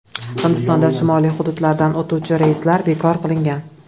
Hindistonda shimoliy hududlardan o‘tuvchi reyslar bekor qilingan.